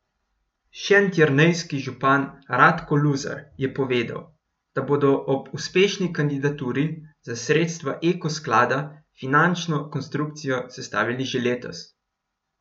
Šentjernejski župan Radko Luzar je povedal, da bodo ob uspešni kandidaturi za sredstva eko sklada finančno konstrukcijo sestavili že letos.